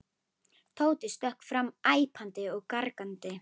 Tóti stökk fram æpandi og gargandi.